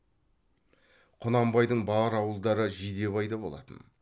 құнанбайдың бар ауылдары жидебайда болатын